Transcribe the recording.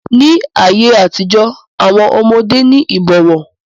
Ní ayé àtijó, àwọn ọmọdé ní ìbọ̀wọ̀.